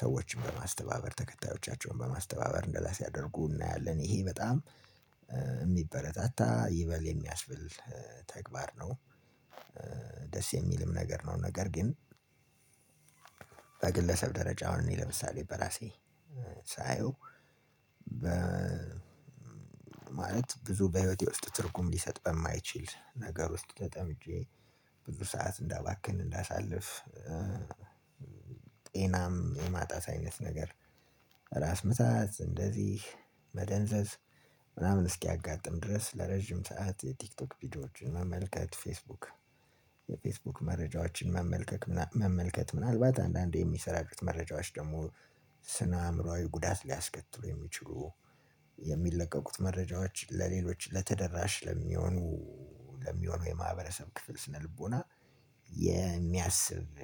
ሰዎችን በማስተባበር ተከታዮቻቸውን በማስተባበር እንደዛ ሲያደርጉ እናያለን ይሄ በጣም የሚበረታታ ይበል የሚያስብል ተግባር ነው። ደስ የሚልም ነገር ነው። ነገር ግን በግለሰብ ደረጃ አሁን እኔ ለምሳሌ በራሴ ሳየው በ ማለት ብዙ በህይወቴ ውስጥ ትርጉም ሊሰጥ በማይችል ነገር ውስጥ ተጠምጄ ብዙ ሰዓት እንዳባክን እንዳሳልፍ። ጤናም የማጣት አይነት ነገር ራስ ምታት እንደዚህ መደንዘዝ ምናምን እስኪያጋጥም ድረስ ለረጅም ሰዓት የቲክቶክ ቪዲዮዎችን መመልከት ፌስቡክ የፌስቡክ መረጃዎችን መመልከት ምናልባት አንዳንዴ የሚሰራጩት መረጃዎች ደግሞ ስነ አእምሮአዊ ጉዳት ሊያስከትሉ የሚችሉ የሚለቀቁት መረጃዎች ለሌሎች ተደራሽ ለሚሆኑ ለሚሆኑ የማህበረሰብ ክፍል ስነልቦና የሚያስብ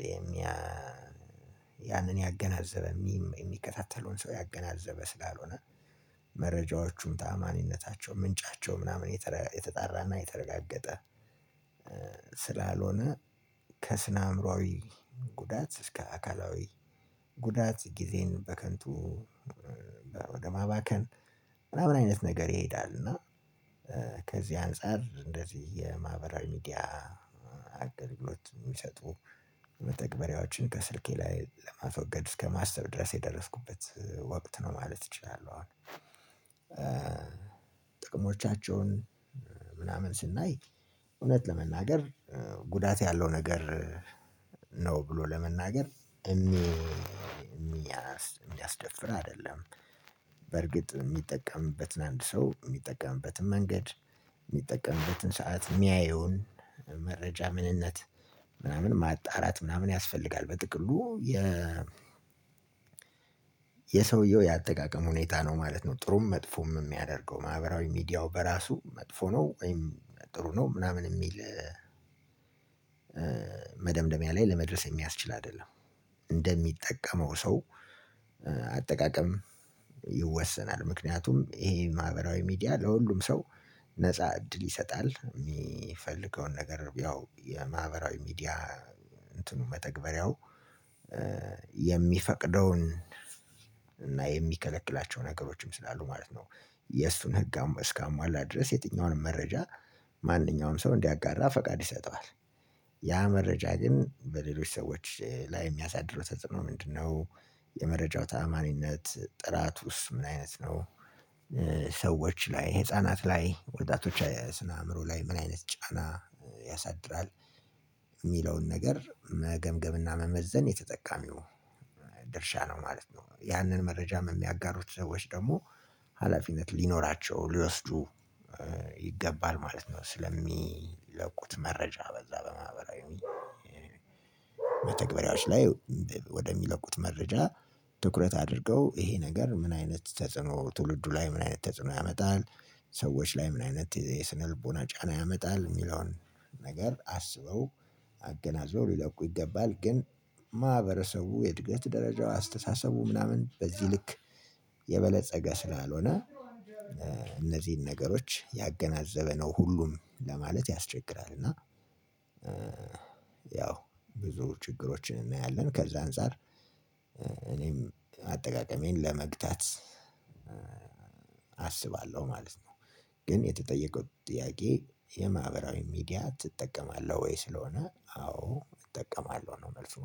ያንን ያገናዘበ የሚከታተለውን ሰው ያገናዘበ ስላልሆነ መረጃዎቹም ታማኝነታቸው ምንጫቸው ምናምን የተጠራና የተረጋገጠ ስላልሆነ ከስነ አእምሮአዊ ጉዳት እስከ አካላዊ ጉዳት ጊዜን በከንቱ ወደ ማባከን ምናምን አይነት ነገር ይሄዳል። እና ከዚህ አንፃር እንደዚህ የማህበራዊ ሚዲያ አገልግሎት የሚሰጡ መተግበሪያዎችን ከስልኬ ላይ ለማስወገድ እስከማሰብ ድረስ የደረስኩበት ወቅት ነው ማለት እችላለሁ። አሁን ጥቅሞቻቸውን ምናምን ስናይ እውነት ለመናገር ጉዳት ያለው ነገር ነው ብሎ ለመናገር የሚያስደፍር አይደለም። በርግጥ የሚጠቀምበትን አንድ ሰው የሚጠቅምበትን መንገድ የሚጠቅምበትን ሰዓት የሚያየውን መረጃ ምንነት ምናምን ማጣራት ምናምን ያስፈልጋል። በጥቅሉ የ የሰውየው የአጠቃቀም ሁኔታ ነው ማለት ነው። ጥሩም መጥፎም የሚያደርገው ማህበራዊ ሚዲያው በራሱ መጥፎ ነው ወይም ጥሩ ነው ምናምን የሚል መደምደሚያ ላይ ለመድረስ የሚያስችል አይደለም። እንደሚጠቀመው ሰው ይወሰናል። ምክንያቱም ይሄ ማህበራዊ ሚዲያ ለሁሉም ሰው ነፃ እድል ይሰጣል። የሚፈልገውን ነገር ያው የማህበራዊ ሚዲያ እንትኑ መተግበሪያው የሚፈቅደውን እና የሚከለክላቸው ነገሮችም ስላሉ ማለት ነው። የእሱን ህግ እስካሟላ ድረስ የትኛውንም መረጃ ማንኛውም ሰው እንዲያጋራ ፈቃድ ይሰጠዋል። ያ መረጃ ግን በሌሎች ሰዎች ላይ የሚያሳድረው ተጽዕኖ ምንድነው? የመረጃ ተአማኒነት ጥራቱስ ምን አይነት ነው? ሰዎች ላይ ህፃናት ላይ ወጣቶች ስነ አእምሮ ላይ ምን አይነት ጫና ያሳድራል? የሚለውን ነገር መገምገምና መመዘን የተጠቃሚው ድርሻ ነው ማለት ነው። ያንን መረጃ የሚያጋሩት ሰዎች ደግሞ ሀላፊነት ሊኖራቸው ሊወስዱ ይገባል ማለት ነው። ስለሚለቁት መረጃ በዛ በማህበራዊ መተግበሪያዎች ላይ ወደሚለቁት መረጃ ትኩረት አድርገው ይሄ ነገር ምን አይነት ተጽዕኖ ትውልዱ ላይ ምን አይነት ተጽዕኖ ያመጣል? ሰዎች ላይ ምን አይነት የስነልቦና ጫና ያመጣል? የሚለውን ነገር አስበው አገናዘበው ሊለቁ ይገባል። ግን ማህበረሰቡ የእድገት ደረጃው አስተሳሰቡ ምናምን በዚህ ልክ የበለፀገ ስላልሆነ ነገሮች ያገናዘበ ነው ሁሉም ለማለት ያስቸግራል። እና ብዙ ችግሮች እናያለን ከዛ አንፃር እኔም አጠቃቀሜን ለመግታት አስባለሁ ማለት ነው። ግን የተጠየቀው ጥያቄ የማህበራዊ ሚዲያ ትጠቀማለህ ወይ? ስለሆነ አዎ እጠቀማለሁ ነው መልሱ